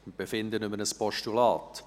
Wir befinden über ein Postulat.